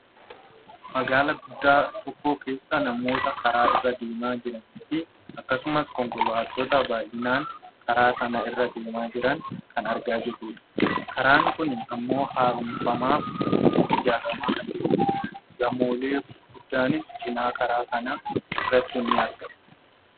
magaalaa guddaa tokko keessa namoota karaa irra deemaa jiraniifi akkasumas konkolaattota baayyinaan karaa sana irra deemaa jiran kan argaa jiruudha. Karaan kun ammoo haaromfamaaf ijaarramaa kan jirudha. Gamoolee gurguddaanis cinaa karaa kanaa irratti ni argamu.